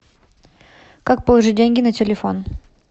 как положить деньги на телефон